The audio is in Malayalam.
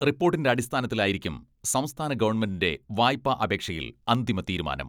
റിപ്പോട്ടിന്റെ അടിസ്ഥാനത്തിലായിരിക്കും സംസ്ഥാന ഗവൺമെന്റിന്റെ വായ്പാ അപേക്ഷയിൽ അന്തിമ തീരുമാനം.